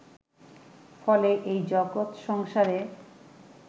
ফলে এই জগৎ সংসারের